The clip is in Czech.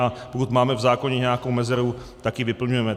A pokud máme v zákoně nějakou rezervu, tak ji vyplňujeme.